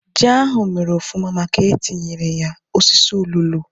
Ji ahú mèrè ofụma màkà na etinyere ya osisi ụlulu